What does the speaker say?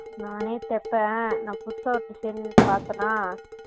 நானே தெப்பேன் நான் புதுசா ஒரு designer பாத்தேனா